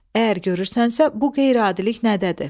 Əgər görürsənsə, bu qeyri-adilik nədədir?